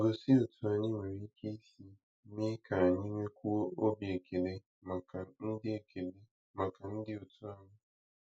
Gosi otú anyị nwere ike isi mee ka anyị nwekwuo obi ekele maka ndị ekele maka ndị òtù anyị.